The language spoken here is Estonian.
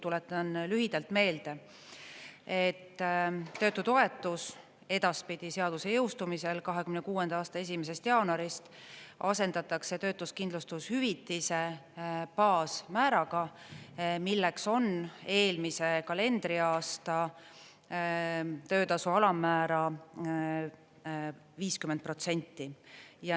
Tuletan lühidalt meelde, et töötutoetus edaspidi seaduse jõustumisel 2026. aasta 1. jaanuarist asendatakse töötuskindlustushüvitise baasmääraga, milleks on eelmise kalendriaasta töötasu alammäära 50%.